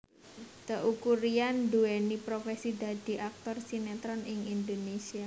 Teuku Ryan nduwéni profesi dadi aktor sinetron ing Indonésia